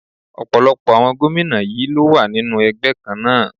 Ọ̀pọ̀lọpọ̀ àwọn gómìnà yí ló wà nínú ẹgbẹ́ kan náà.